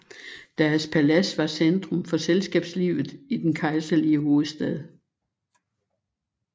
Deres palads var centrum for selskabslivet i den kejserlige hovedstad